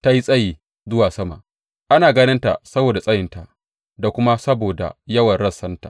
Ta yi tsayi zuwa sama ana ganin ta saboda tsayinta da kuma saboda yawan rassanta.